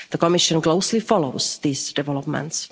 The Commission is closely following these developments.